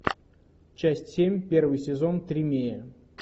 часть семь первый сезон тримея